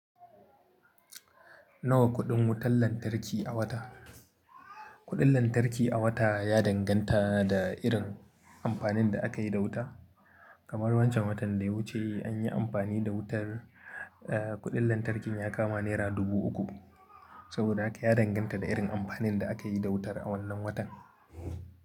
Nawa kuɗin wutar lantarki a wata? Kuɗin lantarki a wata ya danganta da irin amfanin da aka yi da wuta. Kamar wancan watan da ya wuce an yi amfani da wutar, eh, kuɗin lantarkin ya kama naira dubu uku. Saboda haka ya danganta da irin amfanin da aka yi da wutar a wannan watan.